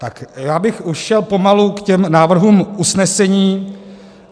Tak já bych už šel pomalu k těm návrhům usnesení.